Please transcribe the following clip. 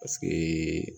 Paseke